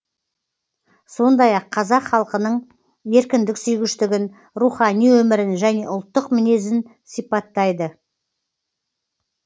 сондай ақ қазақ халқының еркіндік сүйгіштігін рухани өмірін және ұлттық мінезін сипаттайды